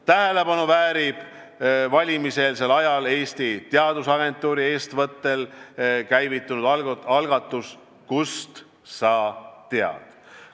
Valimiseelsel ajal väärib tähelepanu Eesti Teadusagentuuri eestvõttel käivitatud algatus "Kust sa tead?".